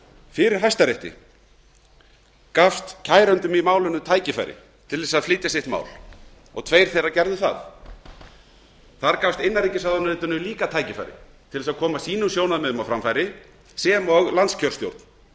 fyrir hæstarétti gafst kærendum í málinu tækifæri til að flytja sitt mál og tveir þeirra gerðu þar þar gafst innanríkisráðuneytinu líka tækifæri til að koma sínum sjónarmiðum á framfæri sem og landskjörstjórn